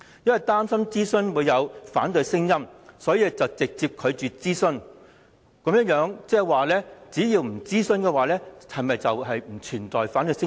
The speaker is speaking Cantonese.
以擔心出現反對聲音為由直接拒絕諮詢，換言之，只要不諮詢便不存在反對聲音。